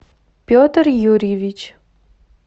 петр юрьевич